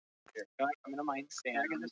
Ég tek eftir fínum rispum á handarbaki hennar.